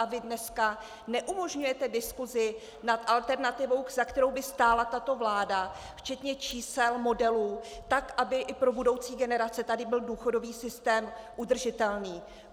A vy dnes neumožňujete diskusi nad alternativou, za kterou by stála tato vláda, včetně čísel, modelů, tak, aby i pro budoucí generace tady byl důchodový systém udržitelný.